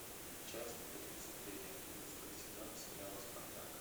часть тридцать три одиннадцатого сезона сериала спартак